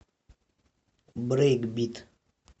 брейкбит